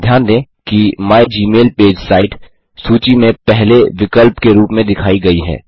ध्यान दें कि माइगमेलपेज साइट सूची में पहले विकल्प के रूप में दिखाई गयी है